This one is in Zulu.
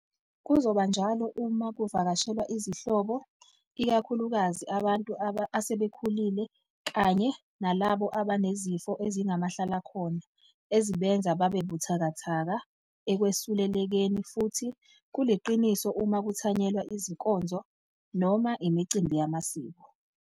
Kuzoba njalo uma ku vakashelwa izihlobo, ikakhulukazi abantu asebekhulile kanye nalabo abanezifo ezingamahlalakhona ezibenza babe buthakathaka ekwesulelekeni. Futhi kuliqiniso uma kuthanyelwa izinkonzo noma imicimbi yamasiko.